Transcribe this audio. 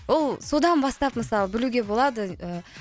ол содан бастап мысалы білуге болады ы